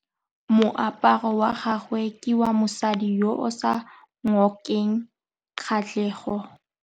Moaparô wa gagwe ke wa mosadi yo o sa ngôkeng kgatlhegô.